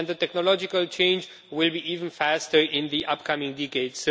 The technological change will be even faster in the upcoming decade.